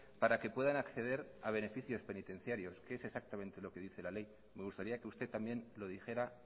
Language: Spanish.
para que puedan acceder a beneficios penitenciarios que es exactamente lo que dice la ley me gustaría que usted también lo dijera